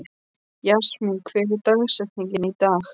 Jasmín, hver er dagsetningin í dag?